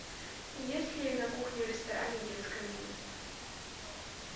есть ли на кухне в ресторане детское меню